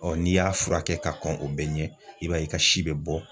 Ɔ n'i y'a furakɛ ka kɔn o bɛɛ ɲɛ i b'a ye i ka si be bɔ